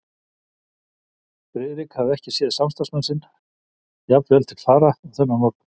Friðrik hafði ekki séð samstarfsmann sinn jafn vel til fara og þennan morgun.